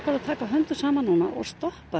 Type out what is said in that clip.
að taka höndum saman og stoppa